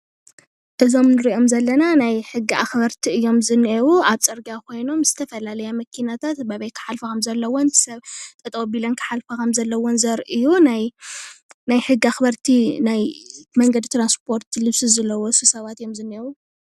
እዞም ንሪኦም ዘለና ናይ ሕጊ ኣኽበርቲ እዮም ዝኒአው፡፡ ኣብ ፅርግያ ኾይኖም ዝተፈላለያ መኪናታት በበይ ክሓልፋ ከምዘለወን ሰብ ጠጠው ኣቢለን ክሓልፋ ከምዘለወን ዘርኢ እዩ፡፡ ናይ ሕጊ ኣኽበርቲ ናይ መንገድ ትራንስፖርቲ ልብሲ ዝለበሱ ሰባት እዮም ዝኒኤው፡፡